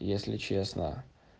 если честно